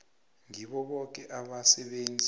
ngibo boke abasebenzi